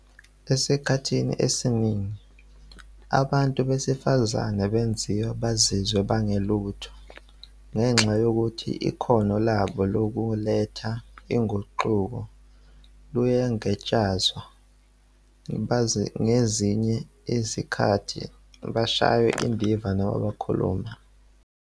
"Esikhathini esiningi, abantu besifazane benziwa bazizwe bengelutho ngenxa yokuthi ikhono labo lokuletha uguquko luyangatshazwa. Ngezinye izikhathi bashaywa indiva uma bekhuluma."